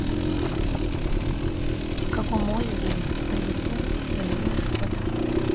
в каком озере есть пресная и соленая вода